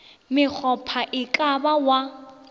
mokgopha e ka ba wa